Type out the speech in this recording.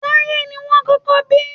Táyé ni wọ́n kọ́kọ́ bí